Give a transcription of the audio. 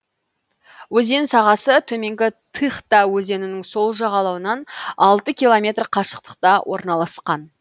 өзен сағасы төменгі тыхта өзенінің сол жағалауынан алты километр қашықтықта орналасқан